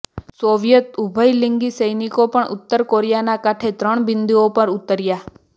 Soviet ઉભયલિંગી સૈનિકો પણ ઉત્તર કોરિયાના કાંઠે ત્રણ બિંદુઓ પર ઉતર્યા